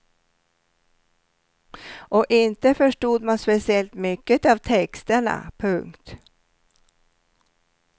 Och inte förstod man speciellt mycket av texterna. punkt